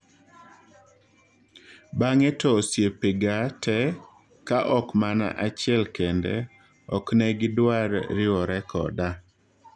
"Bang'e to osiepega te -Ka ok mana achiel kende-oknegidwar riwore koda